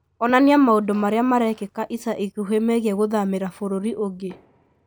onania maũndũ marĩa marekĩka ica ikuhĩ megiĩ gũthamĩra bũrũri ũngĩ